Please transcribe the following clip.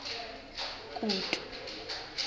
kutu